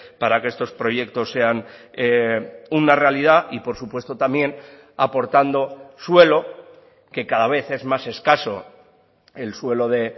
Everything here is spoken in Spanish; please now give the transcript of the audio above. para que estos proyectos sean una realidad y por supuesto también aportando suelo que cada vez es más escaso el suelo de